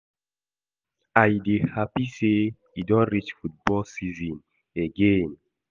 I dey happy say e don reach football season again